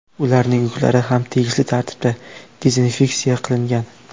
Ularning yuklari ham tegishli tartibda dezinfeksiya qilingan.